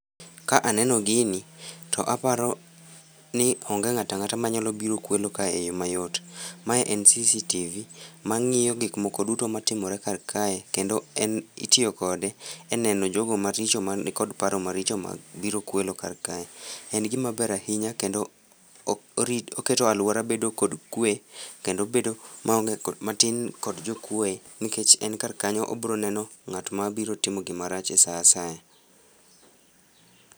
Ka aneno gini, to aparo ni onge ng'at ang'ata manyalo biro kwelo ka e yoo mayot. Ma en CCTV mang'iyo gik moko duto matimore kar kae kendo itiyo kode e neno jogo maricho manikod paro maricho mag biro kwelo kar kae. En gima ber ahinya kendo orito, oketo aluora bedo kod kwee kendo bedo matin kod jokuoe nikech en kar kanyo oiro neno ng'at mabiro timo gimarach e saa asaya